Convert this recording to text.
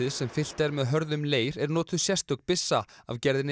sem fyllt er með hörðum leir er notuð sérstök byssa af gerðinni